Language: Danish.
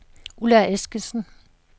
Ulla Eskesen